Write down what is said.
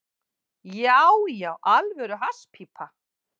Já, já, alvöru hasspípa.